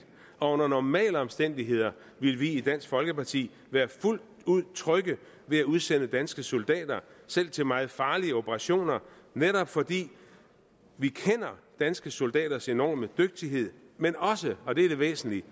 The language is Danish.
og under normale omstændigheder ville vi i dansk folkeparti være fuldt ud trygge ved at udsende danske soldater selv til meget farlige operationer netop fordi vi kender danske soldaters enorme dygtighed men også og det er det væsentlige